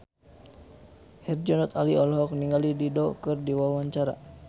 Herjunot Ali olohok ningali Dido keur diwawancara